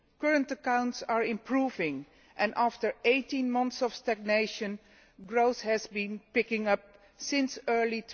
current accounts are improving and, after 18 months of stagnation, growth has been picking up since early